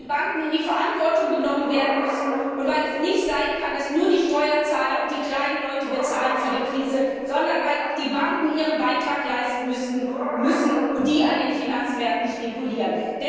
Weil die Banken in die Verantwortung genommen werden müssen, und weil es nicht sein kann, dass nur die Steuerzahler und die kleinen Leute für die Krise bezahlen, sondern weil auch die Banken ihren Beitrag leisten müssen, die an den Finanzmärkten spekulieren.